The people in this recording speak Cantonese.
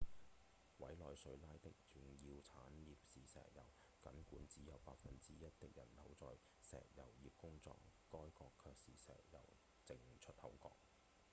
委內瑞拉人的重要產業是石油僅管只有百分之一的人口在石油業工作該國卻是石油淨出口國